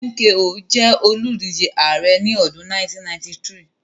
MKO jẹ́ olùdíje ààrẹ́ ní ọdún 1993